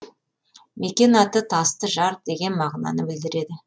мекен аты тасты жар деген мағынаны білдіреді